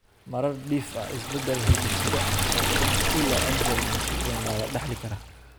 Marar dhif ah, isbeddel hidde-side ah oo ka mas'uul ah Angelman syndrome waa la dhaxli karaa.